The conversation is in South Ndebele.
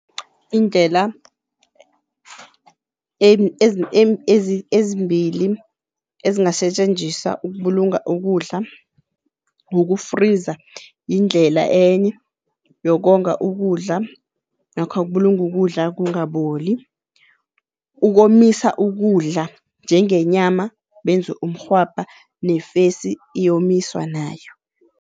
Iindlela ezimbili ezingasetjenziswa ukubulunga ukudla uku-freezer yindlela enye yokonga ukudla namkha kubulunga ukudla kungaboli. Ukomisa ukudla njengenyama benze umrhwabha nefesi iyomiswa nayo.